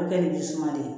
A bɛ kɛ ni jisuma de